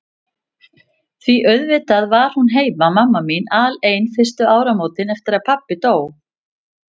Því auðvitað var hún heima, mamma mín, alein fyrstu áramótin eftir að pabbi dó.